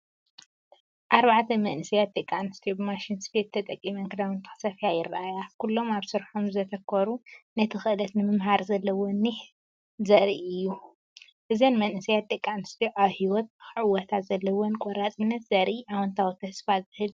ኣርባዕተ መንእሰያት ደቂ ኣንስትዮ ብማሽን ስፌት ተጠቒመን ክዳውንቲ ክስፈያ ይረኣያ። ኩሎም ኣብ ስርሖም ዘተኮሩ ነቲ ክእለት ንምምሃር ዘለወን ኒሕ ዘርኢ እዩ። እዘን መንእሰያት ደቂ ኣንስትዮ ኣብ ህይወት ንኽዕወታ ዘለወን ቆራጽነት ዘርኢ ኣወንታዊን ተስፋ ዝህብን እዩ!